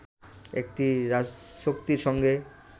একটি রাজশক্তির সঙ্গে